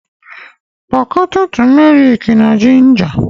Kwọọ tumerik na ginja